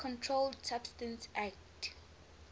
controlled substances acte